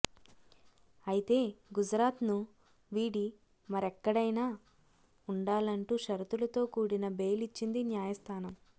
అయితే గుజరాత్ను వీడి మరెక్కడైన ఉండాలంటూ షరతులతో కూడిన బెయిల్ ఇచ్చింది న్యాయస్థానం